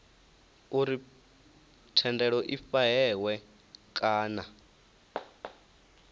uri thendelo i fhahehwe kana